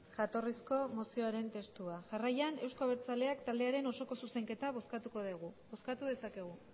jatorrizko testua bozkatu dezakegu